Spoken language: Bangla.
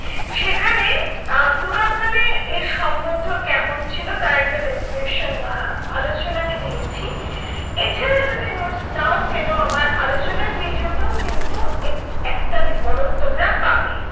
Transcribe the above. সেখানে আহ পুরাকালে এ সম্বন্ধ কেমন ছিল তার একটা description বা আলোচনা আমি দিয়েছি। এছাড়া যদি notes নাও কেনো আমার আলোচনার video টেও কিন্তু এর একটা বিবরণ তোমরা পাবে।